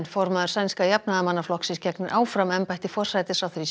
formaður sænska Jafnaðarmannaflokksins gegnir áfram embætti forsætisráðherra